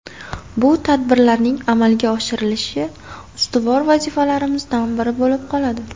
Bu tadbirlarning amalga oshirilishi ustuvor vazifalarimizdan biri bo‘lib qoladi”.